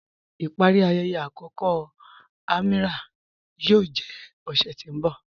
Ipari ayẹyẹ akọkọ Amīràh yóò jẹ ọṣẹ̀ tí n bọ̀.